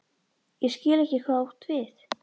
Ég skil ekki hvað þú átt við?